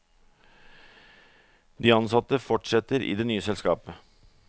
De ansatte fortsetter i det nye selskapet.